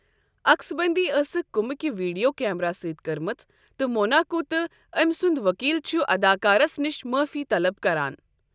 عقسبندی ٲسٕکھ كمبہٕ كہ ویڈیو کیمرا سۭتۍ كٔرمٕژ ، تہٕ موناکو تہٕ أمۍ سُنٛد ؤکیٖل چھ اداکارس نش معٲفی طلب کران۔